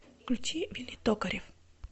включи вилли токарев